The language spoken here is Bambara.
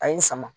A ye n sama